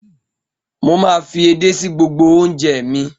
Mo máa fi èdè sí gbogbo oúnjẹ mi.